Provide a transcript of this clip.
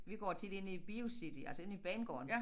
Vi går tit ind i BioCity altså inde i banegården